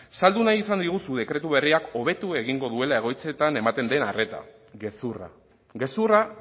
saldu nahi izan diguzu dekretu berriak hobetu egingo duela egoitzetan ematen den arreta gezurra gezurra